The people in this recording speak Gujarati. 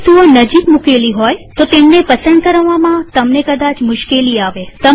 જો વસ્તુઓ નજીક મુકેલી હોયતો તેમને પસંદ કરવામાં તમને કદાચ મુશ્કેલી આવે